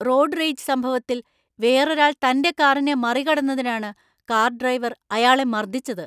Road rage സംഭവത്തിൽ വേറൊരാള്‍ തന്‍റെ കാറിനെ മറികടന്നതിനാണ് കാർ ഡ്രൈവർ അയാളെ മർദ്ദിച്ചത്.